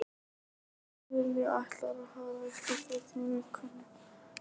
Lilja ætlar að fara eitthvert út með vinkonum sínum